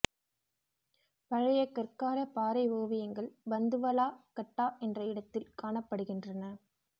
பழைய கற்காலப் பாறை ஓவியங்கள் பந்துவலா கட்டா என்ற இடத்தில் காணப்படுகின்றன